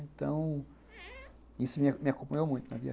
Então, isso me acompanhou muito na minha vida.